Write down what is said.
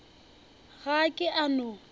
ga a ke a no